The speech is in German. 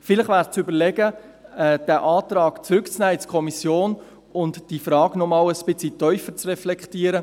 Vielleicht wäre zu überlegen, diesen Antrag in die Kommission zurückzunehmen, und diese Frage noch einmal ein wenig vertiefter zu reflektieren.